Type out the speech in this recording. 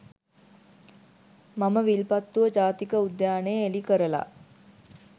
මම විල්පත්තුව ජාතික උද්‍යානය එළි කරලා